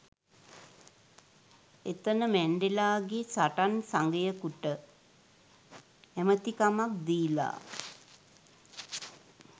එතන මැන්ඩෙලා ගේ සටන් සගයෙකුට ඇමතිකමක් දීලා